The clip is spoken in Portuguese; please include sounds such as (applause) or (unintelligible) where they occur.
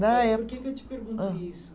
(unintelligible) Por que que eu te pergunto isso?